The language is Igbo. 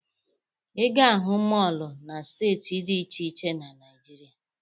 Ị ga-ahụ mọọlụ na steeti dị iche iche na Naịjirịa.